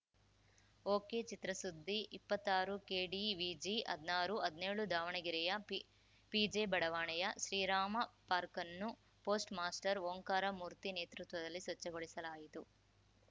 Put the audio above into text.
ಒಕೆಚಿತ್ರಸುದ್ದಿ ಇಪ್ಪತ್ತಾರುಕೆಡಿವಿಜಿಹದ್ನಾರು ಹದ್ನೇಳು ದಾವಣಗೆರೆಯ ಪಿ ಪಿಜೆ ಬಡಾವಣೆಯ ಶ್ರೀರಾಮ ಪಾರ್ಕನ್ನು ಪೋಸ್ಟ್‌ ಮಾಸ್ಟರ್‌ ಓಂಕಾರ ಮೂರ್ತಿ ನೇತೃತ್ವದಲ್ಲಿ ಸ್ವಚ್ಛಗೊಳಿಸಲಾಯಿತು